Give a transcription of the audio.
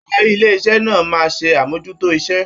Adarí ilé iṣẹ náà máa ṣe amojuto iṣẹ.